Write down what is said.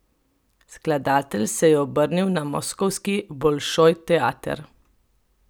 Skladatelj se je obrnil na moskovski Bolšoj teater.